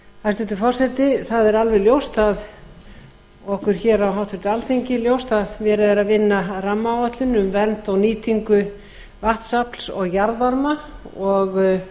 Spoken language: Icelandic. hæstvirtur forseti okkur á alþingi er alveg ljóst að verið er að vinna að rammaáætlun um vernd og nýtingu vatnsafls og jarðvarma og